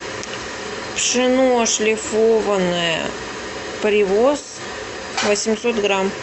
пшено шлифованное привоз восемьсот грамм